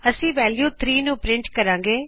ਅੱਸੀ ਵੈਲਯੂ 3 ਨੂੰ ਪਰਿੰਟ ਕਰਾਗੇ